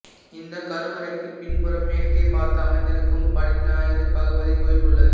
இந்தக் கருவறைக்குப் பின்புறம் மேற்கே பார்த்து அமர்ந்திருக்கும் படிஞ்ஞாறு பகவதி கோயில் உள்ளது